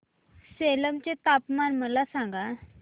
सेलम चे तापमान मला सांगा